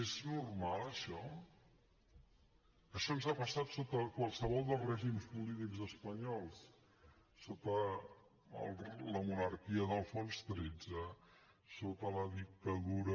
és normal això això ens ha passat sota qualsevol dels règims polítics espanyols sota la monarquia d’alfons xiii sota la dictadura